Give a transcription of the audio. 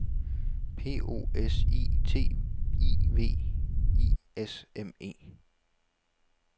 P O S I T I V I S M E